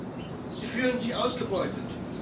Erstens Sie fühlen sich ausgebeutet.